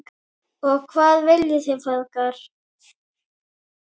Og hvað viljið þið feðgar?